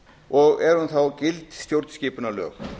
og er hún þá gild stjórnskipunarlög